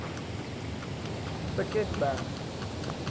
piketberg